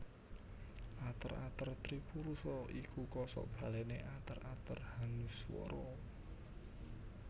Ater ater tripurusa iku kosokbalené ater ater hanuswara